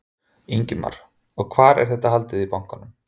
Ingimar: Og hvar, er þetta haldið í bankanum?